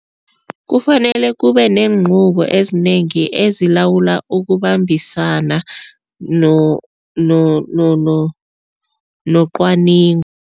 Kufanele kube nenquko ezinengi ezilawula ukubambisana nocwaningo.